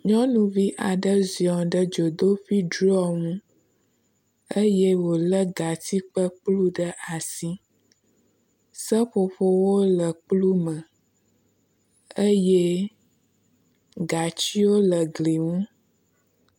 Nyɔnuvi aɖe ziɔ ɖe dzoteƒe drɔ ŋu eye wòlé gatsi kple kplu ɖe asi. Seƒoƒowo le kplu me eye gatsiwo le gli ŋu.